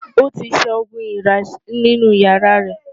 Ó ti ṣẹ́ oogun èèrà nínú ìyàrá rẹ̀.